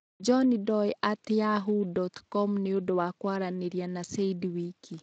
Johnndoe at yahoo dot com nĩ ũndũ wa kwaranĩria na said wiki